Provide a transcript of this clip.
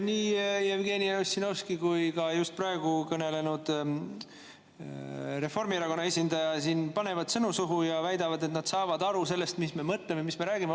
Nii Jevgeni Ossinovski kui ka just praegu kõnelenud Reformierakonna esindaja siin panevad sõnu suhu ja väidavad, et nad saavad aru sellest, mis me mõtleme, mis me räägime.